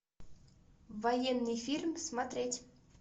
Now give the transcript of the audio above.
военный фильм смотреть